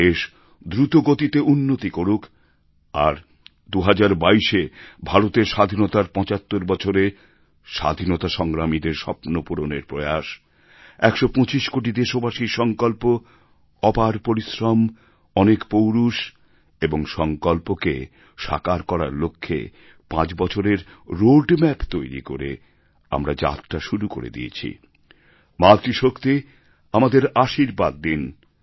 দেশ দ্রুত গতিতে উন্নতি করুক আর ২০২২ এ ভারতের স্বাধীনতার ৭৫ বছরে স্বাধীনতা সংগ্রামীদের স্বপ্নপূরণের প্রয়াস ১২৫ কোটি দেশবাসীর সঙ্কল্প অপার পরিশ্রম অনেক পৌরুষ এবং সঙ্কল্পকে সাকার করার লক্ষ্যে পাঁচ বছরের রোড ম্যাপ তৈরি করে আমরা যাত্রা শুরু করে দিয়েছি মাতৃশক্তি আমাদের আশীর্বাদ দিন